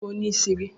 Ònye bụ onyeisi gị?